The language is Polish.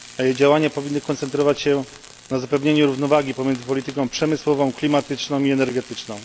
Działania powinny koncentrować się na zapewnieniu równowagi pomiędzy polityką przemysłową, klimatyczną i energetyczną.